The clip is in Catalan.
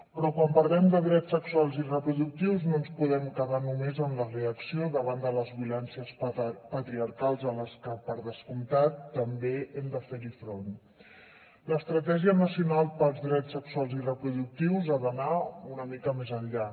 però quan parlem de drets sexuals i reproductius no ens podem quedar només en la reacció davant de les violències patriarcals a les que per descomptat també hem de fer hi front l’estratègia nacional pels drets sexuals i reproductius ha d’anar una mica més enllà